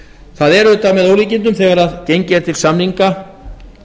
það er auðvitað með ólíkindum þegar gengið er til samninga